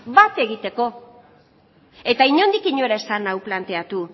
bat egiteko eta inondik inora ez zen hau planteatu